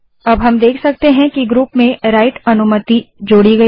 अब हम देख सकते हैं कि ग्रुप में राइट अनुमति जोड़ी गयी है